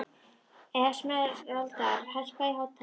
Esmeralda, hækkaðu í hátalaranum.